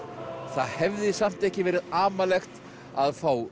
það hefði samt ekki verið amalegt að fá